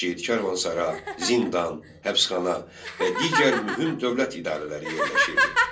Şəhər karvansara, zindan, həbsxana və digər mühüm dövlət idarələri yerləşirdi.